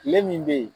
Tile min bɛ yen